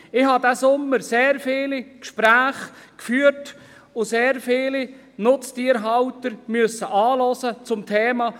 Diesen Sommer habe ich zum Thema Grossraubtiere sehr viele Gespräche geführt und sehr viele Nutztierhalter anhören müssen.